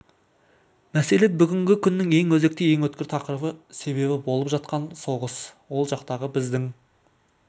мәселе бүгінгі күннің ең өзекті ең өткір тақырыбы себебі болып жатқан соғыс ол жақтағы біздің